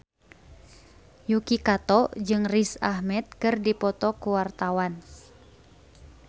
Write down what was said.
Yuki Kato jeung Riz Ahmed keur dipoto ku wartawan